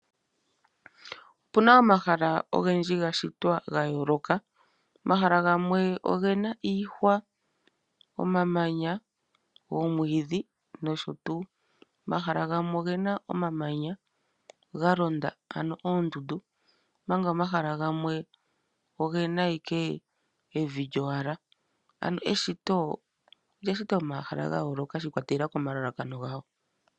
Opu na omahala ogendji ga shitwa ga yooloka. Omahala gamwe oge na iihwa, omamanya, oomwiidhi nosho tuu. Omahala gamwe oge na omamanya ga londa, ano oondundu, omanga omahala gamwe oge na owala evi lyowala. Eshito olya shitwa momahala ga yooloka shi ikwatelela komalalakano gawo.